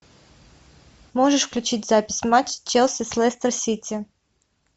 можешь включить запись матча челси с лестер сити